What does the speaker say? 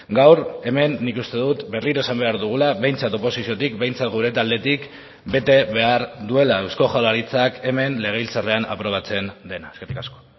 gaur hemen nik uste dut berriro esan behar dugula behintzat oposiziotik behintzat gure taldetik bete behar duela eusko jaurlaritzak hemen legebiltzarrean aprobatzen dena eskerrik asko